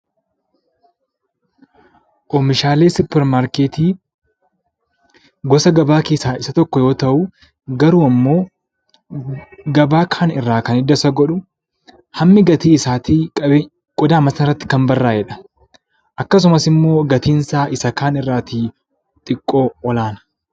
Oomishaalee suupermaarkeetii gosa gabaa keessaa isa tokko yoo ta'u, garuu immoo gabaa kaan irraa waanti adda isa godhu, hammi gatii isaatii mataa qodaa irratti kan barraa'edha. Akkasumas gatiin isaa isa kaan irra ol aana.